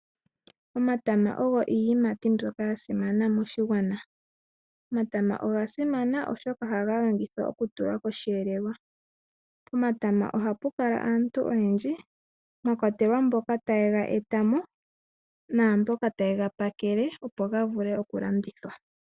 Omatama ogo iikwamboga mbyoka ya simana moshigwana. Omatama oga simana oshoka ohaga longithwa okutula kosheelelwa . Pomatama ohapu kala aantu oyendji mwakwatelwa mboka taye ga etamo naamboka tayega pakele opo ga vule oku landithwa.